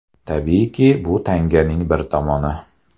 Tabiiyki, bu tanganing bir tomoni.